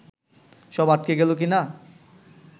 সব আটকে গেল কি না